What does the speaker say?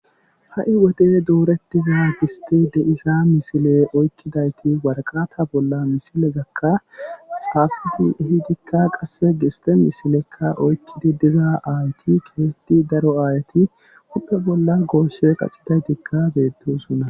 ha7i wode duuretiza gisti de iza misile oykkidayti warqata bolla misilezakka xaafidi ehidikka qasse giste misilekka oykkidi dizaa aayti keetti daro aayati uppe bolla gooshe qaxidaydikka beettosunna